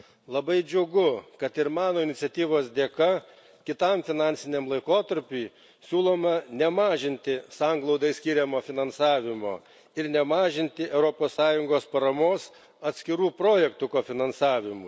Labai džiugu, kad ir mano iniciatyvos dėka kitam finansiniam laikotarpiui siūloma nemažinti sanglaudai skiriamo finansavimo ir nemažinti Europos Sąjungos paramos atskirų projektų kofinansavimui.